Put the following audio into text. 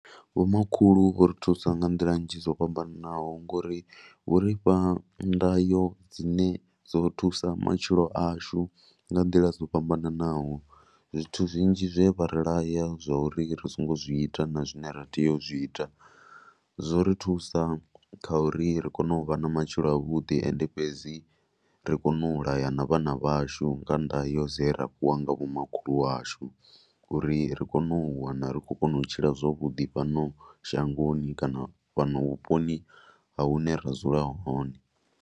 Vhomakhulu vho ri thusa nga nḓila nnzhi dzo fhambanaho ngo ri vho ri fha ndayo dzine dzo thusa matshilo ashu nga nḓila dzo fhambanaho. Zwithu zwinzhi zwe vha ri laya zwa uri ri songo zwi ita na zwine ra tea u zwi ita zwo ri thusa kha uri ri kone u vha na matshilo avhuḓi. Ende fhedzi ri kone u laya na vhana vhashu nga ndayo dze ra fhiwa nga vhomakhulu washu uri ri kone u wana ri khou kona u tshila zwavhuḓi fhano shangoni kana fhano vhuponi ha hune ra dzula hone.